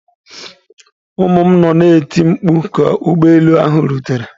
Ụmụ m nọ na-eti mkpu ka ụgbọ elu ahụ rutere.